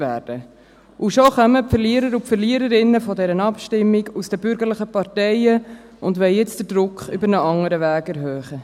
Und jetzt kommen die Verlierer und Verliererinnen dieser Abstimmung aus den bürgerlichen Parteien schon, und wollen den Druck über einen anderen Weg erhöhen.